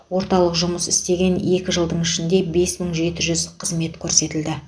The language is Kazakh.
орталық жұмыс істеген екі жылдың ішінде бес мың жеті жүз қызмет көрсетілді